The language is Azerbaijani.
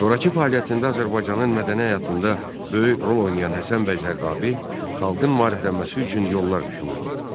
Sonrakı fəaliyyətində Azərbaycanın mədəni həyatında böyük rol oynayan Həsən bəy Zərdabi xalqın maariflənməsi üçün yollar düşünürdü.